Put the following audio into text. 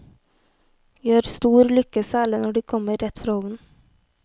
Gjør stor lykke særlig når de kommer rett fra ovnen.